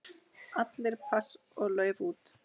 Allir pass og lauf út.